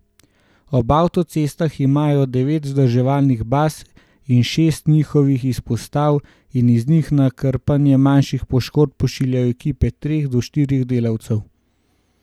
Ob avtocestah imajo devet vzdrževalnih baz in šest njihovih izpostav in iz njih na krpanje manjših poškodb pošiljajo ekipe treh do štirih delavcev.